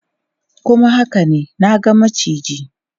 Kuma haka ne, na ga macijin.